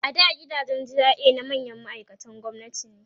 a da gidajen GRA na manyan ma'aikatan gwamnati ne